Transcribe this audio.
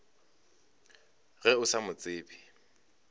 ge o sa mo tsebe